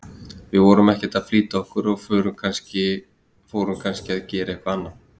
Við vorum ekkert að flýta okkur og fórum kannski að gera eitthvað annað